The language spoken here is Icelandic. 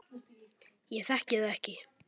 Ég þekki það ekki.